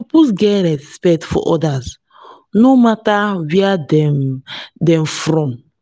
you suppose get respect for others no mata where dem dem come from.